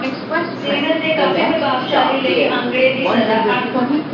season ਦੇ ਕਾਫ਼ੀ ਪ੍ਰਭਾਵਸ਼ਾਲੀ ਲਈ ਅੰਕੜੇ ਦੀ ਸਜ਼ਾ ਅੰਕ